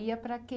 E ia para